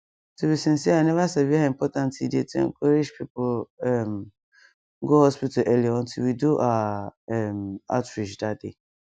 to be sincere i never sabi how important e dey to encourage people um go hospital early until we do our um outreach that day